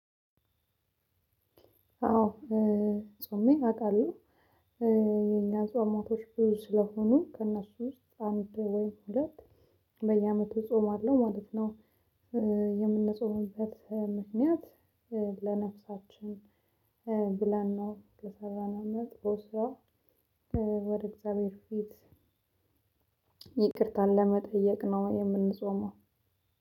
አዎ ጾሜ አውቃለሁ የኛ ጾም ወራቶች ብዙ ስለሆኑ ከእነሱ ውስጥ አንድ ወይም ሁለት በየአመቱ ጾም አለው ማለት ነው። የምንጾምበት ምክንያት ለነፍሳችን ብለን ነው የሰራነሁን መጥፎ ስራ ወደ እግዚአብሔር ፊት ይቅርታን ለመጠየቅ ነው የምንጾመው።